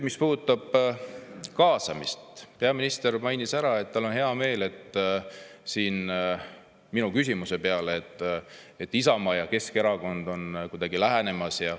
Mis puudutab kaasamist, peaminister mainis ära siin minu küsimuse peale, et tal on hea meel, et Isamaa ja Keskerakond on kuidagi lähenemas.